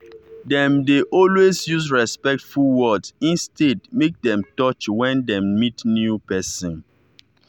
dem dey always use respectful word instead make dem touch when dem meet new pesin